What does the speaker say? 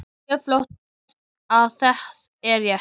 Og hún sér fljótt að það er rétt.